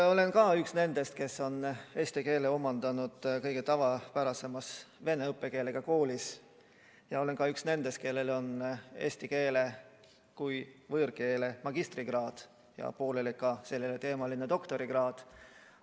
Olen üks nendest, kes on eesti keele omandanud kõige tavapärasemas vene õppekeelega koolis, ja olen ka üks nendest, kellel on eesti keele kui võõrkeele magistrikraad ja pooleli sel erialal doktorikraadi omandamine.